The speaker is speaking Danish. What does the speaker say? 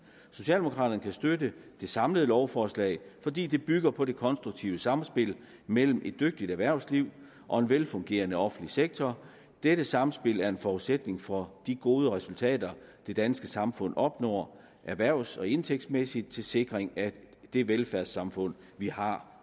socialdemokraterne kan støtte det samlede lovforslag fordi det bygger på det konstruktive samspil mellem et dygtigt erhvervsliv og en velfungerende offentlig sektor dette sammenspil er en forudsætning for de gode resultater det danske samfund opnår erhvervs og en indtægtsmæssigt til sikring af det velfærdssamfund vi har